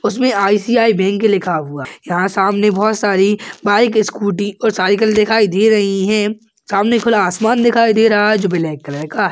उसमें I C I bank लिखा हुआ यहाँ सामने बहुत सारी बाइक स्कूटी और साइकिल दिखाई दे रही है सामने खुला आसमान दिखाई दे रहा है जो ब्लैक कलर --